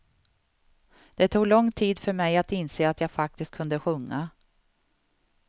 Det tog lång tid för mig att inse att jag faktiskt kunde sjunga.